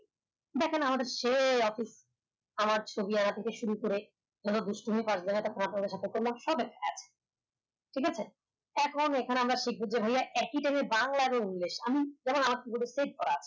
দেখেন আমাদের সেই office আমার ছবি আমার থেকে শুরু করে ঠিক আছে এখন এখানে আমরা শিখব যে ভাইয়া একি time এ বাংলা এবং আমি যেমন save করা